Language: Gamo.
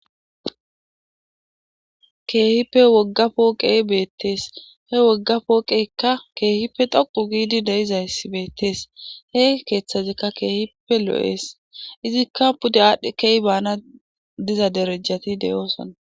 keehippe wogga pooqey beettees he wogga pooqeykka keehippe toqu giidi deizaysi beettees he keeththazekka keehippe loo7ees izikka pude aadhdhe keehi baana diza derejjati deyoosona